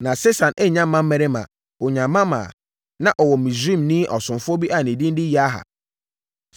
Na Sesan annya mmammarima, ɔnyaa mmammaa. Na ɔwɔ Misraimni ɔsomfoɔ bi a ne din de Yarha.